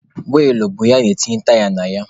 Wiilụ bụ ihe ana-etinye taya na ya.